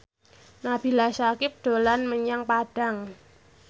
Nabila Syakieb dolan menyang Padang